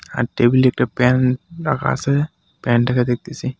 আর টেবিলে একটা প্যান্ট রাখা আছে প্যানটাকে দেখতেসি.